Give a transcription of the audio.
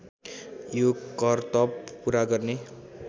यो करतब पुरा गर्ने